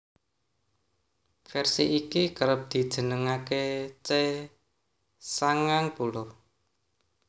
Vèrsi iki kerep dijenengaké C sangang puluh